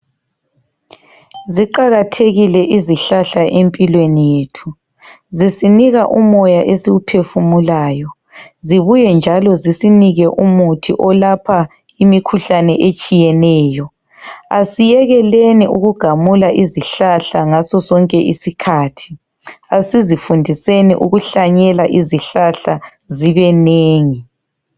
Ziqakathekile izihlahla empilweni yethu, zisinika umoya esiwuphefumulayo, zibuye njalo zisinike umuthi olapha imikhuhlane etshiyeneyo. Asiyekeleni ukugamula izihlahla ngasosonke isikhathi. Asizifundiseni ukuhlanyela izihlahla zibe nengi.